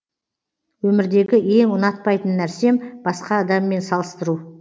өмірдегі ең ұнатпайтын нәрсем басқа адаммен салыстыру